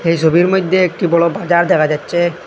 এ সবির মইদ্যে একটি বড় বাজার দেখা যাচ্চে।